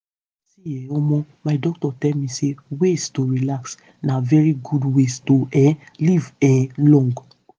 see[um]omo my doc tell me say ways to relax na very good way to um live um long.